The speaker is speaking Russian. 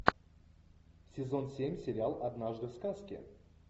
сезон семь сериал однажды в сказке